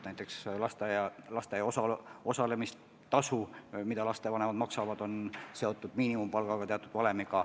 Näiteks lasteaia kohatasu, mida lapsevanemad maksavad, on teatud valemi abil miinimumpalgaga seotud.